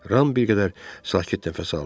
Ram bir qədər sakit nəfəs aldı.